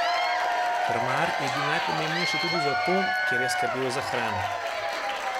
Krmar je bil najpomembnejši tudi zato, ker je skrbel za hrano.